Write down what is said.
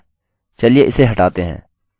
चलिए इसे हटाते हैं